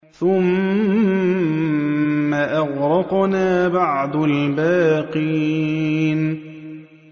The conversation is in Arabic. ثُمَّ أَغْرَقْنَا بَعْدُ الْبَاقِينَ